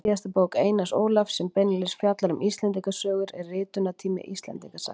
Síðasta bók Einars Ólafs sem beinlínis fjallar um Íslendingasögur er Ritunartími Íslendingasagna.